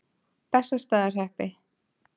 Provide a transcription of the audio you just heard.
Bessastaðahreppi